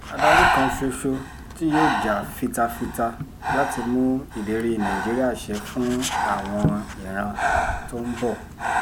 adarí kan ṣoṣo tí yóò jà fita fita láti mú ìlérí nàìjíríà ṣẹ fún àwọn ìran tó ń bọ̀